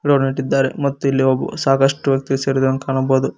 ಗಿಡಗಳ ನೆಟ್ಟಿದ್ದಾರೆ ಮತ್ತು ಇಲ್ಲಿ ಸಾಕಷ್ಟು ವ್ಯಕ್ತಿ ಸೇರಿದಂಗೆ ಕಾಣಬಹುದು.